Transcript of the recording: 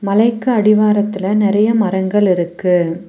மலைக்கு அடிவாரத்துல நெறைய மரங்கள் இருக்கு.